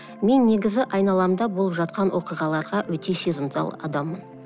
мен негізі айналамда болып жатқан оқиғаларға өте сезімтал адаммын